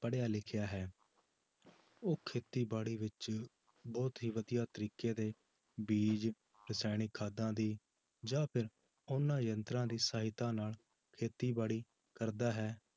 ਪੜ੍ਹਿਆ ਲਿਖਿਆ ਹੈ ਉਹ ਖੇਤੀਬਾੜੀ ਵਿੱਚ ਬਹੁਤ ਹੀ ਵਧੀਆ ਤਰੀਕੇ ਦੇ ਬੀਜ਼ ਰਸਾਇਣਿਕ ਖਾਦਾਂ ਦੀ ਜਾਂ ਫਿਰ ਉਹਨਾਂ ਯੰਤਰਾਂ ਦੀ ਸਹਾਇਤਾ ਨਾਲ ਖੇਤੀਬਾੜੀ ਕਰਦਾ ਹੈ